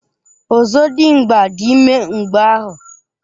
Ozodimgba dị ime mgbeahu.